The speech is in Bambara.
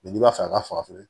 n'i b'a fɛ ka faga